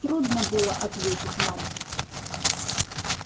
трудно было ответить нам